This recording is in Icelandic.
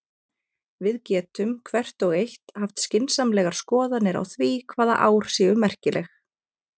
Við getum, hvert og eitt, haft skynsamlegar skoðanir á því hvaða ár séu merkileg.